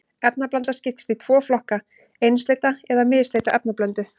Efnablanda skiptist í tvo flokka, einsleita eða misleita efnablöndu.